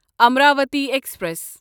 Amravati express